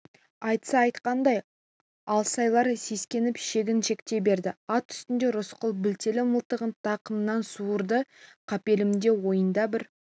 айтса айтқандай алсайлар сескеніп шегіншектей берді ат үстінде рысқұл білтелі мылтығын тақымынан суырды қапелімде ойында бір